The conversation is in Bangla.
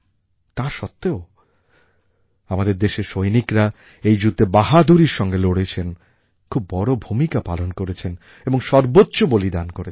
তা সত্ত্বেও আমাদের দেশের সৈনিকরা এই যুদ্ধে বাহাদুরীর সঙ্গে লড়েছেন খুব বড় ভূমিকা পালন করেছেন এবং সর্বোচ্চ বলিদান করেছেন